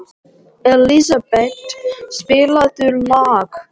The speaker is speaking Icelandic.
Elísabet, spilaðu lag.